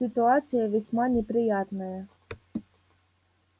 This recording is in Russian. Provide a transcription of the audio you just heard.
ситуация весьма неприятная